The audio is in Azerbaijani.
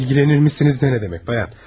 İlgilenir misiniz de ne demek bayan?